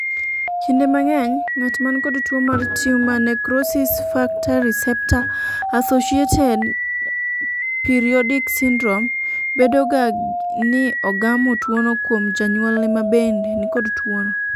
kinde mang'eny ,ng'at man kod tuo mar Tumor necrosis factor receptor associated periodic syndrom bedoga ni ogamo tuono kuom janyuolne ma bende nikod tuo